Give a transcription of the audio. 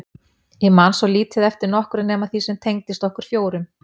Ég man svo lítið eftir nokkru nema því sem tengdist okkur fjórum.